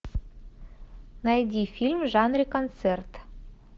найди фильм в жанре концерт